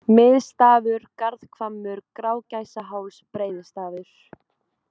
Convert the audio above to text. Miðstafur, Garðhvammur, Grágæsaháls, Breiðistafur